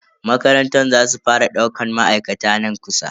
Makarantar za su fara daukan ma'aikata nan kusa.